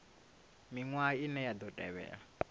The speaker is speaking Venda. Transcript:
miṅwaha ine ya ḓo tevhela